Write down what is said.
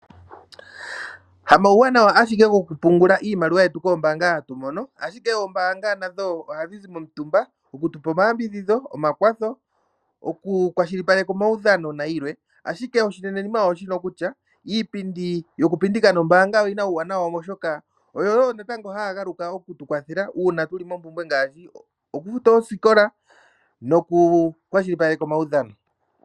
Hamauwanawa ashike gokupungula iimaliwa yetu ogo hatu mono koombaanga, ashike oombaanga nasho ohadhi zi momutumba okutu pa omayambidhidho, omakwatho, okukwashilipaleka omaudhano nayilwe. Ashike oshinenenima osho shika kutya iipindi yokupindika nombaanga oyi na uuwanawa, oshoka oyo wo haya galuka oku tu kwathela uuna tu li moompumbwe ngaashi okufuta oosikola nokukwashilipaleka omaudhano.